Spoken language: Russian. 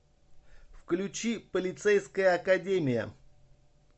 включи полицейская академия